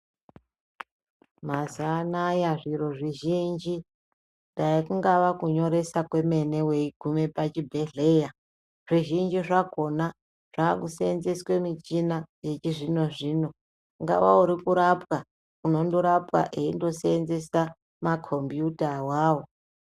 Mazuwa anaya zviro zvizhinji, dai kungaa kunyoresa kwemene weiguma pachibhendhleya. Zvizhinji zvakona zvakuseenzeswa michina yechizvino zvino. Ungava uri kurapwa, unondorapwa eindoseenzesa makombuuta awawo.